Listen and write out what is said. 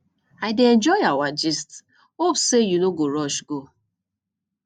i dey enjoy our gist hope say you no go rush go